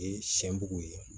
Sɛn bugu ye